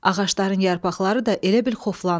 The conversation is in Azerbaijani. Ağacların yarpaqları da elə bil xoflandı.